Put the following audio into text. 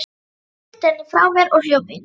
Hrinti henni frá mér og hljóp inn.